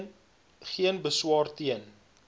geen beswaar teen